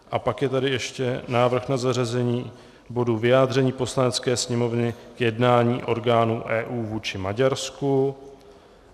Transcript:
A pak je tady ještě návrh na zařazení bodu Vyjádření Poslanecké sněmovny k jednání orgánů EU vůči Maďarsku.